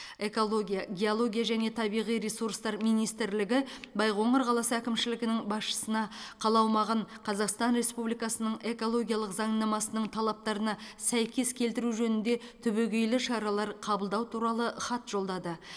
экология геология және табиғи ресурстар министрлігі байқоңыр қаласы әкімшілігінің басшысына қала аумағын қазақстан республикасының экологиялық заңнамасының талаптарына сәйкес келтіру жөнінде түбегейлі шаралар қабылдау туралы хат жолдады